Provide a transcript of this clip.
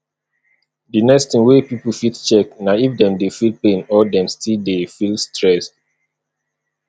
the next thing wey pipo fit check na if dem dey feel pain or dem still dey feel stressed